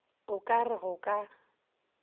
o ka re go ka